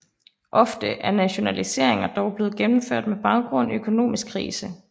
Ofte er nationaliseringer dog blevet gennemført med baggrund i økonomisk krise